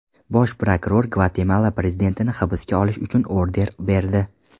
Bosh prokuror Gvatemala prezidentini hibsga olish uchun order berdi.